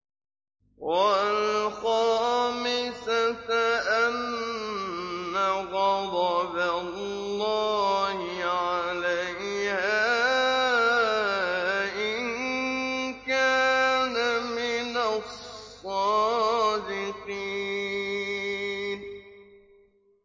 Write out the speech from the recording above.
وَالْخَامِسَةَ أَنَّ غَضَبَ اللَّهِ عَلَيْهَا إِن كَانَ مِنَ الصَّادِقِينَ